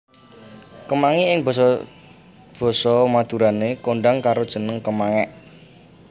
Kemangi ing basa basa Madurané kondhang karo jeneng kemangék